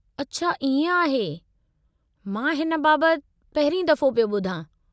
अछा इअं आहे, मां हिन बाबतु पहिरीं दफ़ो पियो ॿुधां।